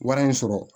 Wari in sɔrɔ